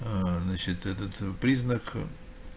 аа значит этот признак